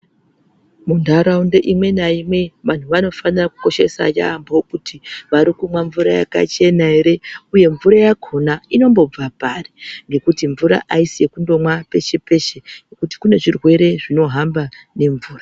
Mundaraunda imweni naimwe vantu vanofanira kukoshesa yambo kuti vari kumwa mvura yakakosha here uye mvura yakona inobva pari nekuti mvura hayisi yekumbomwa peshe peshe nekuti kunezvirwere zvino hamba ngemvura.